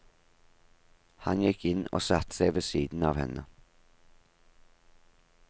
Han gikk inn og satte seg ved siden av henne.